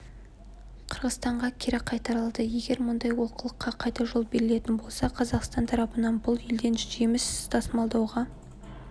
қырғызстанға кері қайтарылды егер мұндай олқылыққа қайта жол берілетін болса қазақстан тарапы бұл елден жеміс тасымалдауға